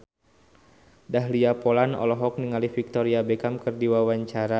Dahlia Poland olohok ningali Victoria Beckham keur diwawancara